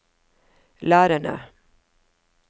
lærerne